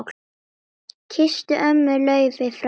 Kysstu ömmu Laufey frá mér.